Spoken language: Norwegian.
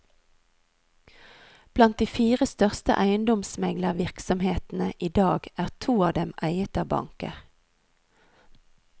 Blant de fire største eiendomsmeglervirksomhetene i dag er to av dem eiet av banker.